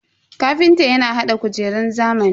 Kafintan ya hada kujerun zamani.